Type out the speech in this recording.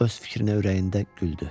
Öz fikrinə ürəyində güldü.